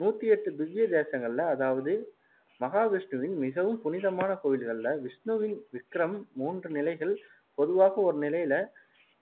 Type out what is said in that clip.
நூத்தி எட்டு திவ்ய தேசங்களில அதாவது மகாவிஷ்ணுவுன் மிகவும் புனிதமான கோவில்களில, விஷ்ணுவின் விக்ரம் மூன்று நிலைகள் பொதுவாக ஒரு நிலையில